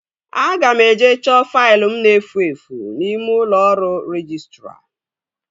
Aga m eje chọọ faịlụ m na-efu efu n'ime ụlọ ọrụ rejistra